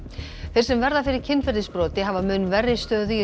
þeir sem verða fyrir kynferðisbroti hafa mun verri stöðu í